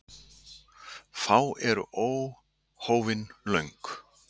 Fá eru óhófin löng.